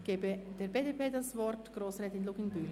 Ich gebe der BDP das Wort, Grossrätin Luginbühl.